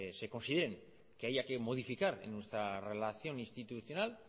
se consideren que haya que modificar en nuestra relación institucional